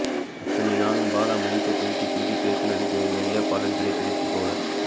இத்தனை நாளும் பாலா மைக்க தூக்கி தூக்கி பேசினதுக்கு ஒரு வழியா பலன் கிடைச்சிருச் போல